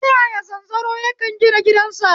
Ta yaya zanzaro yake gina gidansa?